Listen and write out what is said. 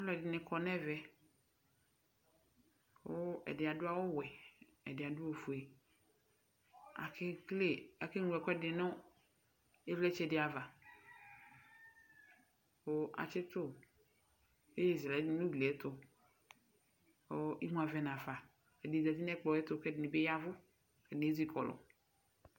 Alu ɛdini kɔ nu ɛvɛ ku ɛdi adu awu ɔʋɛ ɛdi adu ofue akeŋlo ɛkuɛdu nu ivlitsɛ di ava ku asitu iyeye nu uɣliva ɛdini zati nu ɛkplɔ yɛtu kɛdini yavu